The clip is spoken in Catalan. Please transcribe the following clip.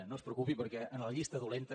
no es preocupi perquè en la llista dolenta